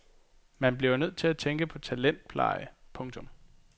Man bliver nødt til at tænke i talentpleje. punktum